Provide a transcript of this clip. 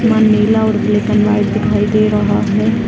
यहाँ नीला और ब्लैक एंड वाइट दिखाई दे रहा है |